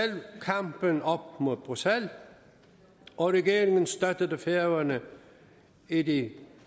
kampen op mod bruxelles og regeringen støttede færøerne i de